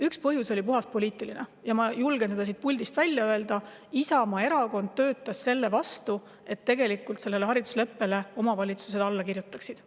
Üks põhjus oli puhtalt poliitiline ja ma julgen selle siit puldist välja öelda: Isamaa Erakond töötas selle vastu, et omavalitsused sellele haridusleppele alla kirjutaksid.